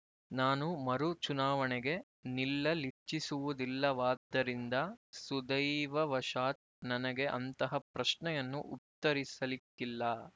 ನಾನು ಮರು ಚುನಾವಣೆಗೆ ನಿಲ್ಲಲಿಚ್ಚಿಸುವುದಿಲ್ಲವಾದ್ದರಿಂದ ಸುದೈವವಶಾತ್ ನನಗೆ ಅಂತಹ ಪ್ರಶ್ನೆಯನ್ನು ಉತ್ತರಿಸಲಿಕ್ಕಿಲ್ಲ